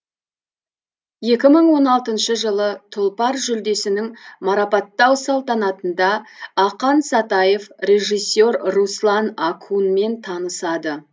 екі мың он алтыншы жылы тұлпар жүлдесінің марапаттау салтанатында ақан сатаев режиссер руслан акунмен танысады